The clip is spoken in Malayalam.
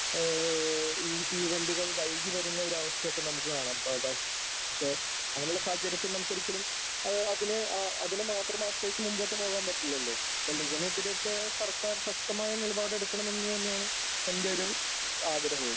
ഏഏ ഈ തീവണ്ടികൾ വൈകി വരുന്ന ഒരു അവസ്ഥയൊക്കെ നമുക്ക് കാണാം . പക്ഷേ അങ്ങനെയുള്ള സാഹചര്യത്തിൽ നമുക്ക് ഒരിക്കലും അത് അതിനെ മാത്രം ആശ്രയിച്ച് മുന്നോട്ട് പോകാൻ പറ്റില്ലല്ലോ സർക്കാർ ശക്തമായ നിലപാട് എടുക്കണമെന്ന് തന്നെയാണ് എന്റെ ഒരു ആഗ്രഹവും